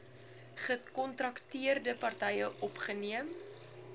gekontrakteerde partye opgeneem